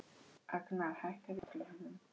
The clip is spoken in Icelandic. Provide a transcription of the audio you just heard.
Agnar, hækkaðu í hátalaranum.